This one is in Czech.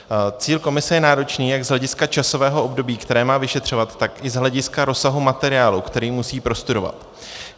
Cíl komise je náročný jak z hlediska časového období, které má vyšetřovat, tak i z hlediska rozsahu materiálu, který musí prostudovat.